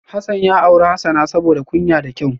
Hasan ya auri Hasana saboda kunya da kyau